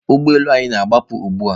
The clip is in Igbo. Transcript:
Ụgbọ elu anyị na-agbapụ ugbu a.